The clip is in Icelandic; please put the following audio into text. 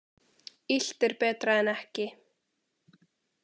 Illt er betra en ekki.